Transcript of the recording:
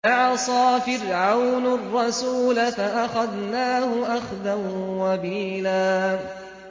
فَعَصَىٰ فِرْعَوْنُ الرَّسُولَ فَأَخَذْنَاهُ أَخْذًا وَبِيلًا